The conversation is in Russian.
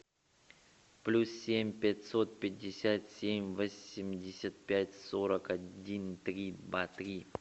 плюс семь пятьсот пятьдесят семь восемьдесят пять сорок один три два три